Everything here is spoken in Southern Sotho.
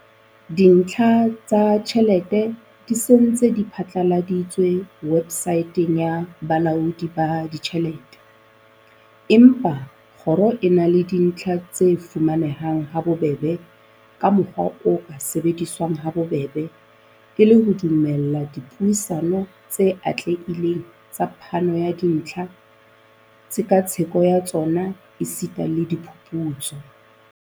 "Dintlha tsa tjhelete di se di ntse di phatlaladitswe webosaeteng ya Bolaodi ba Ditjhelete, empa kgoro e na le dintlha tse fuma nehang habobebe ka mokgwa o ka sebediswang habobebe, e le ho dumella dipuisano tse atlehileng tsa phano ya dintlha, tshekatsheko ya tsona esita le diphuputso."